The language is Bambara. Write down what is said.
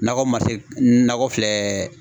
Nakɔ man se nakɔ filɛ